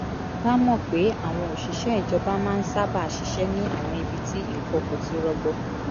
bá mọ̀ pé àwọn òṣìṣẹ́ ìjọba máa ń sábà ṣiṣẹ́ ní àwọn ibi tí nǹkan kò ti rọgbọ